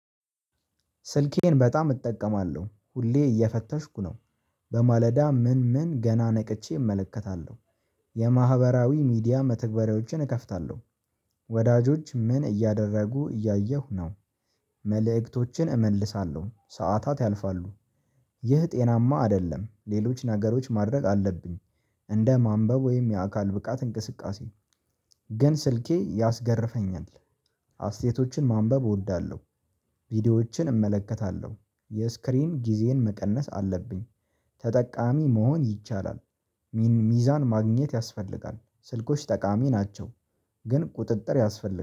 ስልኬን በጣም እጠቀማለሁ ሁሌ እየፈተሽኩ ነው በማለዳ ምን ምን ገና ነቅቼ እመለከታለሁ የማህበራዊ ሚዲያ መተግበሪያዎችን እከፍታለሁ። ወዳጆች ምን እያደረጉ እያየሁ ነው። መልእክቶችን እመልሳለሁ ሰዓታት ያልፋሉ። ይህ ጤናማ አይደለም ሌሎች ነገሮች ማድረግ አለብኝ። እንደ ማንበብ ወይም የአካል ብቃት እንቅስቃሴ። ግን ስልኬ ያስገርመኛል። አስተያየቶችን ማንበብ እወዳለሁ። ቪዲዮዎችን እመለከታለሁ የስክሪን ጊዜን መቀነስ አለብኝ። ተጠቃሚ መሆን ይቻላል። ሚዛን ማግኘት ያስፈልጋል ስልኮች ጠቃሚ ናቸው። ግን ቁጥጥር ያስፈልጋል